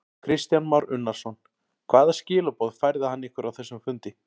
Kristján Már Unnarsson: Hvaða skilaboð færði hann ykkur á þessum fundi?